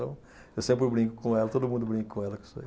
Eu sempre brinco com ela, todo mundo brinca com ela com isso aí.